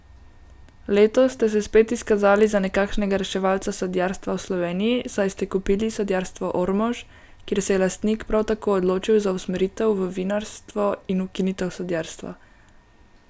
Letos ste se spet izkazali za nekakšnega reševalca sadjarstva v Sloveniji, saj ste kupili Sadjarstvo Ormož, kjer se je lastnik prav tako odločil za usmeritev v vinarstvo in ukinitev sadjarstva.